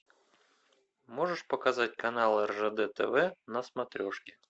можешь показать канал ржд тв на смотрешке